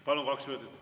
Palun, kaks minutit!